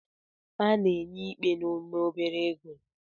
A ga-enye ikpe n'ime obere oge